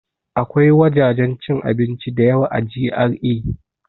Akwai wajajen cin abinci da yawa a GRA